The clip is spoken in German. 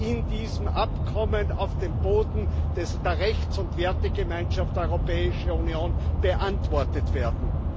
in diesem Abkommen auf dem Boden der Rechts und Wertegemeinschaft der Europäischen Union beantwortet werden.